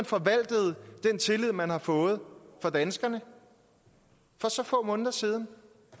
forvaltet den tillid man har fået fra danskerne for så få måneder siden